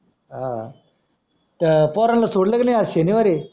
हां तर पोरांना सोडला कि नाय आज शनिवार आहे